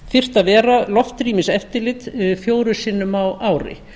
þyrfti að vera loftrýmiseftirlit fjórum sinnum á ári